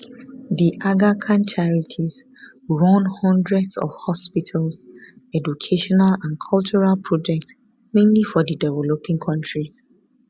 the aga khan charities run hundreds of hospitals educational and cultural projects mainly for di developing world